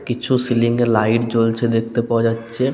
কিছু সিলিং -এ লাইট জ্বলছে দেখতে পাওয়া যাচ্ছে।